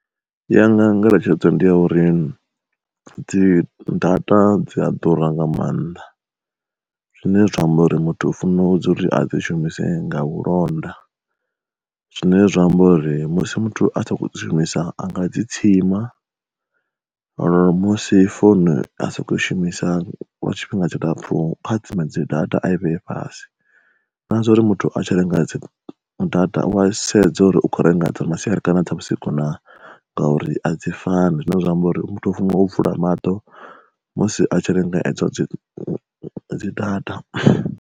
Yanga ngeletshedzo ndi ya uri, dzi data dzi a ḓura nga maanḓa. Zwine zwa amba uri muthu a funa u dzi uri a dzi shumisi nga vhulonda zwine zwa amba uri musi muthu a sa zwishumisa anga dzi tsima, ngauri musi founu a soko shumisa lwa tshifhinga tshilapfhu kha tsime dzi data a i vheye fhasi, na zwo uri muthu a tshi renga dzi data u wa sedza uri u kho renga dza masiari kana dza vhusiku na ngauri a dzi fani zwine zwa amba uri muthu o funga u vula maṱo musi a tshi lenga dzi dzi data.